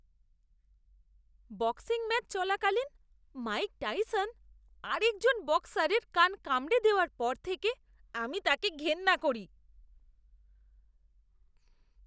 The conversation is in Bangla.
বক্সিং ম্যাচ চলাকালীন মাইক টাইসন আরেকজন বক্সারের কান কামড়ে দেওয়ার পর থেকে আমি তাঁকে ঘেন্না করি।